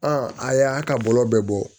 a y'a ka bɔlɔ bɛɛ bɔ